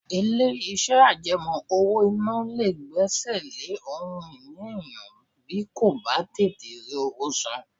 Ilé-iṣẹ́ àjẹmọ́ owó-ìná lè gbẹ́sẹ̀ lé ohun ìní èèyàn bí kò bá tètè rí owó san